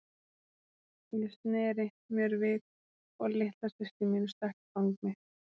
Ég sneri mér við og litla systir mín stökk í fang mitt.